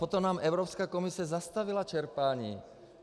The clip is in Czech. Potom nám Evropská komise zastavila čerpání.